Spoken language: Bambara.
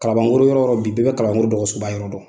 Kalabankoro yɔrɔ yɔrɔ bi bɛɛ bɛ kalabankoro dɔgɔsoba yɔrɔ dɔn.